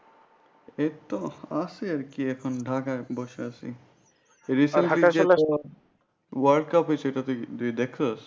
এইতো আছি আর কি এখন ঢাকায় বসে আছি world cup হয়েছিল তুই দেখছোস?